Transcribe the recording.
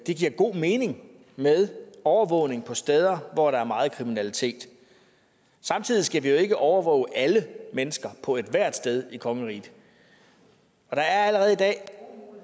det giver god mening med overvågning på steder hvor der er meget kriminalitet samtidig skal vi jo ikke overvåge alle mennesker på ethvert sted i kongeriget og der er allerede i dag